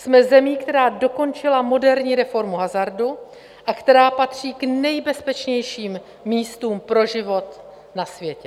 Jsme zemí, která dokončila moderní reformu hazardu a která patří k nejbezpečnějším místům pro život na světě.